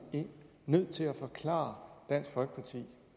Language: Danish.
nødt til at forklare dansk folkeparti